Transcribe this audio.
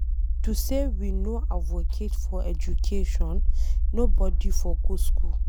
If to say we no advocate for education, nobody for go school.